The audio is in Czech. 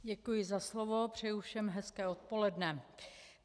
Děkuji za slovo, přeju všem hezké odpoledne.